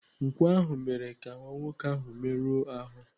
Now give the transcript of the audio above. Nkwọ ahụ mere ka nwa nwoke ahụ merụọ ahụ.